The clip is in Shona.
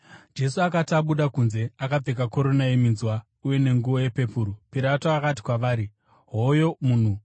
Jesu akati abuda kunze akapfeka korona yeminzwa uye nenguo yepepuru, Pirato akati kwavari, “Hoyo munhu!”